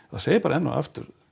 þá segi ég bara enn og aftur